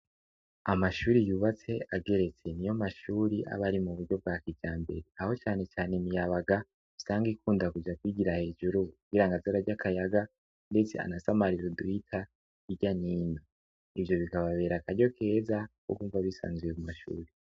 Amashuri yubatse ageretse niyo mashuri aba ari mu buryo bwa kijambere. Aho cane cane imiyabaga usanga ikunda kuja kwigira hejuru kugira ngo aze ararya akayaga yicaye ahantu asamarira uduhita irya n'ino. Ivyo bikababera akaryo keza ko kumva bisanzuye ku mashure.